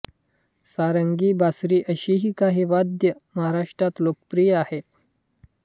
सारंगी बासरी अशीही काही वाद्य महाराष्ट्रात लोकप्रिय आहेत